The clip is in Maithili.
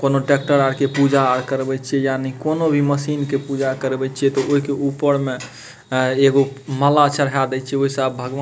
कोनो ट्रैक्टर आके पूजा आ करवे छै यानि कोनो भी मशीन के पूजा करवे छै त ओए के ऊपर में एगो माला चढ़ा देइ छै वैसे अब भगवा --